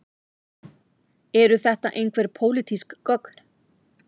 Eru þetta einhver pólitísk gögn